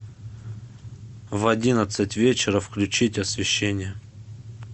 в одиннадцать вечера включить освещение